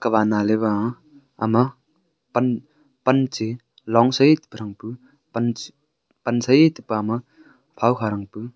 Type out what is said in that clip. kawa na lawa am panche longse thar pu pansai tapa ma phowkha rang pu.